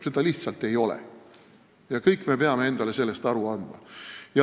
Seda lihtsalt ei ole ja kõik me peame endale sellest aru andma.